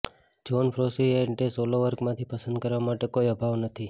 John Frusciante solo વર્કમાંથી પસંદ કરવા માટે કોઈ અભાવ નથી